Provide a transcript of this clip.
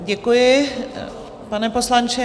Děkuji, pane poslanče.